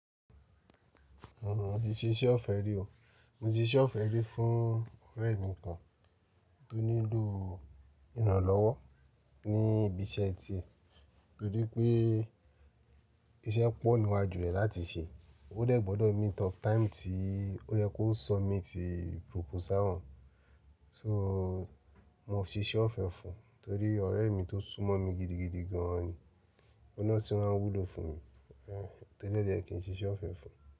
Rárá, mo ti ṣe iṣẹ́ ọ̀fẹ́ rí o. Mo ti ṣe ọ̀fẹ́ rí fún ọ̀rẹ́ mi kan tó nílò ìrànlọ́wọ́ ní ibi iṣẹ́ tie torí pé iṣẹ́ pọ̀ níwájú rẹ̀ láti ṣe. Ó dẹ̀ gbọ́dọ̀ meet up táìmù tí ó yẹ kó submit proposal hàn. So, mo si'ṣe ọ̀fẹ́ fún torí ọ̀rẹ́ mi tó súnmọ́ mi gidigidi gan ni. Ọ̀hun nà tun ma n wúlò fún mi. Torí lojẹ̀ kí n ṣe iṣẹ́ ọ̀fẹ́ fún.